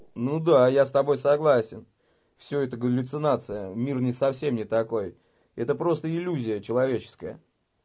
ну да я с тобой согласен всё это галлюцинация мир не совсем не такой это просто иллюзия человеческая